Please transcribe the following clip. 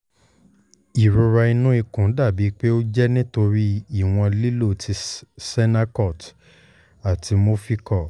irora ninu ikun dabi pe o jẹ nitori iwọn lilo ti sennacot ati movicol